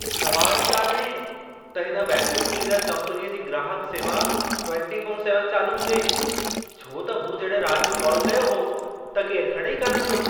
सवाल ई कान्हे त हिन वैक्यूम क्लीनर कंपनीअ जी ग्राहक सेवा 24/7 चालू हुजे। छो त मूं जॾहिं रात जो कॉल कयो हो, त केर खणे ई कान पियो।